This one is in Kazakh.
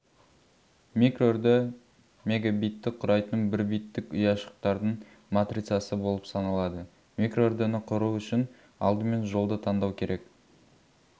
микроүрді мбитті құрайтын бір биттік ұяшықтардың матрицасы болып саналады микроүрдіні құру үшін алдымен жолды таңдау керек